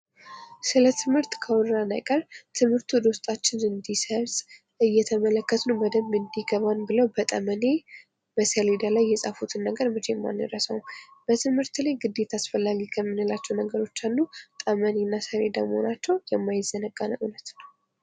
ስለ ትምህርት ካወራን አይቀር ትምህርት ወደ ውስጣችን እንዲሰርጥ እየተመለከትንም በደንብ እንዲገባን ብለው በጠመኔ በሰሌዳ ላይ የፃፉትን ነገር መቼም አንረሳውም ። በትምህርት ላይ ግዴታ አስፈላጊ ከምንላቸው ነገሮች አንዱ ጠመኔ እና ሰሌዳ መሆናቸው የማይዘነጋን እውነት ነው ።